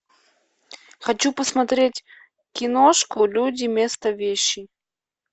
хочу посмотреть киношку люди места вещи